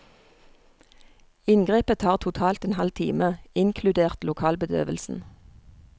Inngrepet tar totalt en halv time, inkludert lokalbedøvelsen.